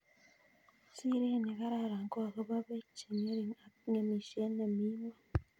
Siret ne karan ko akobo peek che ngering' ak ngemishet ne mi ngweny